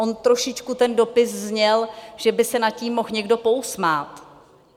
On trošičku ten dopis zněl, že by se nad tím mohl někdo pousmát.